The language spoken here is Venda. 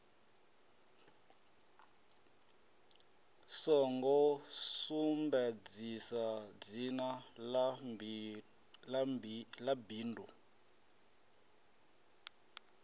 songo sumbedzisa dzina ḽa bindu